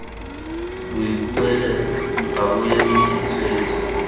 boikuelo ga bo emise tshwetso